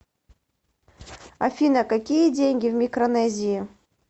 афина какие деньги в микронезии